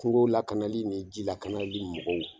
Kungo lakanali ni jilakanali mɔgɔw